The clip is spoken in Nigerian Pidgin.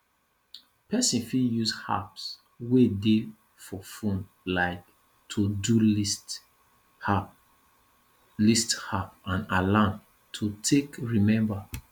person fit use apps wey dey for phone like todo list app list app and alarms to take remember